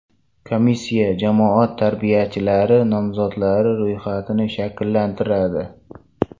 Komissiya jamoat tarbiyachilari nomzodlari ro‘yxatini shakllantiradi.